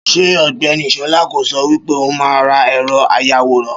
Ṣé Ògbẹ́ni Ṣọlá kò sọ wípé òun máa ra ẹ̀rọ àyawòran?